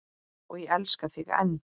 Og ég elska þig enn.